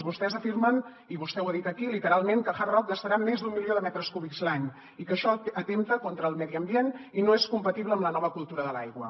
vostès afirmen i vostè ho ha dit aquí literalment que hard rock gastarà més d’un milió de metres cúbics l’any i que això atempta contra el medi ambient i no és compatible amb la nova cultura de l’aigua